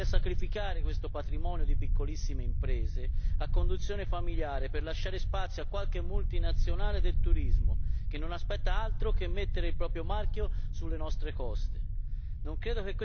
Mi chiedo perché si voglia sacrificare questo patrimonio di piccolissime imprese a conduzione familiare per lasciare spazio a qualche multinazionale del turismo, che non aspetta altro che mettere il proprio marchio sulle nostre coste.